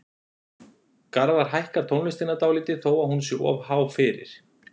Garðar hækkar tónlistina dálítið þó að hún sé of há fyrir.